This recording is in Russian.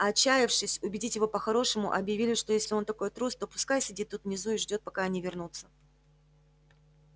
а отчаявшись убедить его по-хорошему объявили что если он такой трус то пускай сидит тут внизу и ждёт пока они вернутся